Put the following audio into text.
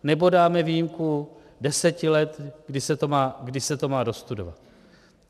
Nebo dáme výjimku deseti let, kdy se to má dostudovat.